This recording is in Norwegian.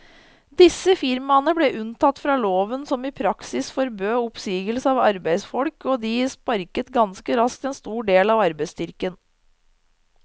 Disse firmaene ble unntatt fra loven som i praksis forbød oppsigelse av arbeidsfolk, og de sparket ganske raskt en stor del av arbeidsstyrken.